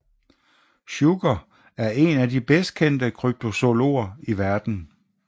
Shuker er en af de bedst kendte kryptozoologer i verden